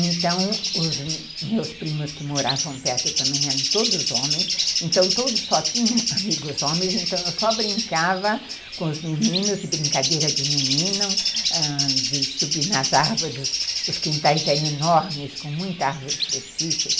Então os meus primos que moravam perto também eram todos homens, então todos só tinham amigos homens, então eu só brincava com os meninos, de brincadeira de menino, de subir nas árvores, os quintais eram enormes, com muita árvore frutífera.